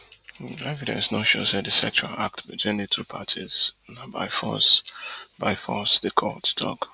evidence no show say di sexual act between di two parties na by force by force di court tok